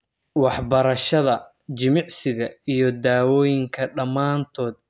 Waxbarashada, jimicsiga, iyo dawooyinka dhamaantood aad bay muhiim ugu yihiin maaraynta AS.